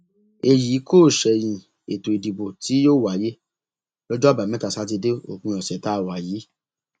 èyí kò ṣẹyìn ètò ìdìbò tí yóò wáyé lọjọ àbámẹta sátidé òpin ọsẹ tá a wà yìí